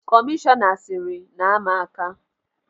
Kọmishọna siiri, naa m aka!